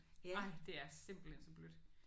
Ej det er simpelthen så blødt!